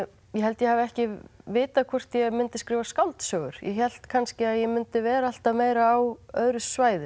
ég held að ég hafi ekki vitað hvort ég myndi skrifa skáldsögur ég hélt kannski að ég mundi vera alltaf meira á öðru svæði